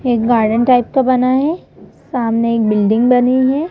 एक garden type का बना है सामने बिल्डिंग बनी है।